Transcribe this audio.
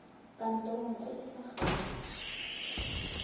kantorong e e fa gaufi